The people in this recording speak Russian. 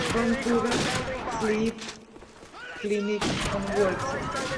ванкувер слип клиник анворти